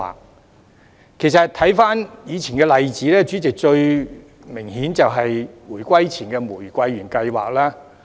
代理主席，其實，回看以往的例子，最明顯就是回歸前的"玫瑰園計劃"。